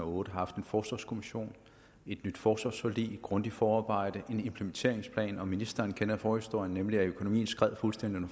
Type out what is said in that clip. og otte har haft en forsvarskommission et nyt forsvarsforlig et grundigt forarbejde og en implementeringsplan ministeren kender forhistorien nemlig at økonomien skred fuldstændig